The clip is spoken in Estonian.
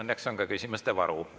Õnneks on ka küsimuste varu.